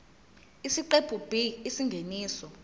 isiqephu b isingeniso